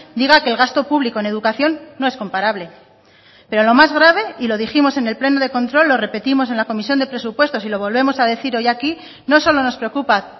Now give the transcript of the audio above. diga que el gasto público en educación no es comparable pero lo más grave y lo dijimos en el pleno de control lo repetimos en la comisión de presupuestos y lo volvemos a decir hoy aquí no solo nos preocupa